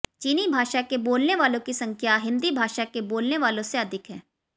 चीनी भाषा के बोलने वालों की संख्या हिन्दी भाषा के बोलने वालों से अधिक है